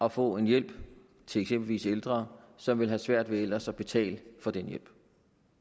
at få en hjælp til eksempelvis ældre som ville have svært ved ellers at betale for den hjælp